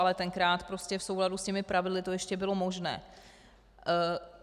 Ale tenkrát prostě v souladu s těmi pravidly to ještě bylo možné.